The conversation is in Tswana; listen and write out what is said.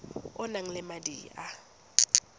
o nang le madi a